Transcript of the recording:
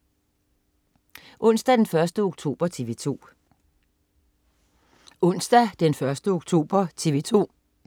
Onsdag den 1. oktober - TV 2: